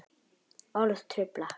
Orð trufla.